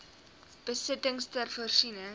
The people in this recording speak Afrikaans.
besittings ter voorsiening